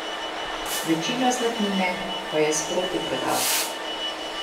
Večino zlatnine pa je sproti prodal.